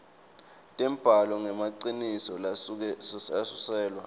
tembhalo lengemaciniso nalesuselwa